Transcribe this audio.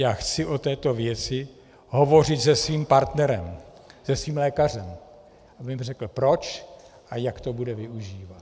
Já chci o této věci hovořit se svým partnerem, se svým lékařem, aby mi řekl, proč a jak to bude využívat.